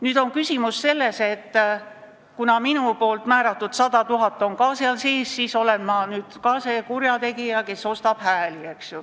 Nüüd on küsimus selles, et kuna minu suunatud 100 000 eurot on ka selle raha sees, siis kas ma olen ka kurjategija, kes ostab hääli.